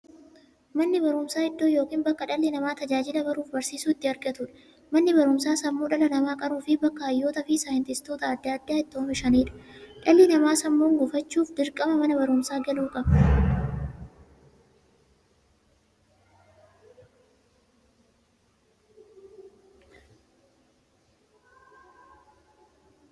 Manni baruumsaa iddoo yookiin bakkee dhalli namaa tajaajila baruufi barsiisuu itti argatuudha. Manni baruumsaa sammuu dhala namaa qaruufi bakka hayyootafi saayintistoota adda addaa itti oomishuudha. Dhalli namaa sammuun gufachuuf, dirqama Mana baruumsaa galuu qaba.